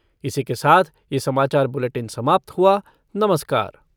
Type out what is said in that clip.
इसी के साथ ये समाचार बुलेटिन समाप्त हुआ नमस्कार !